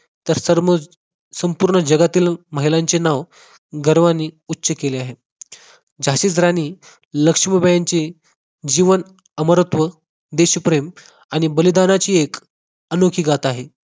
तर तर मग संपूर्ण जगातील महिलांचे नाव गर्वाने उच्च केले आहे. झाशीची राणी लक्ष्मीबाई यांची जीवन अमरत्व देशप्रेम आणि बलिदानाची एक अनोखी गाथा आहे